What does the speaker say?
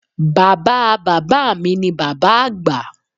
Bàbáa Bàbá mi ni Bàbá Àgbà